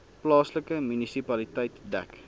plaaslike munisipaliteit dek